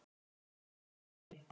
Kæri Leifi